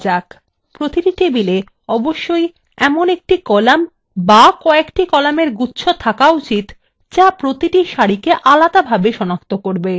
প্রতিটি table অবশ্যই এমন একটি column বা কএকটি columnএর গুচ্ছ থাকা উচিত যা প্রতিটি সারিকে আলাদাভাবে সনাক্ত করবে